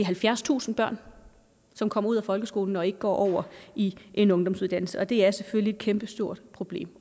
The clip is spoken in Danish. halvfjerdstusind børn som kommer ud af folkeskolen og ikke går over i en ungdomsuddannelse og det er selvfølgelig et kæmpestort problem